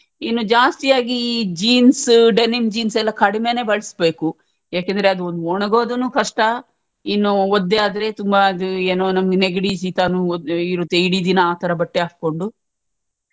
ಇನ್ನು ಜಾಸ್ತಿಯಾಗಿ jeansdenim jeans ಎಲ್ಲ ಕಡಿಮೇನೆ ಬಳಸ್ಬೇಕು ಯಾಕಂದ್ರೆ ಅದೊಂದು ಒಣಗೋದುನು ಕಷ್ಟ ಇನ್ನು ಒದ್ದೆ ಆದ್ರೆ ತುಂಬಾ ಅದ್ ಏನೋ ನಮ್ಗೆ ನೆಗಡಿ ಶೀತನು ಒದ್ ಇಡೀ ದಿನಾ ಆತರ ಬಟ್ಟೆ ಹಾಕೊಂಡು.